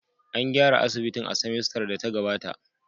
An gyara asibitin a semester da ta gabata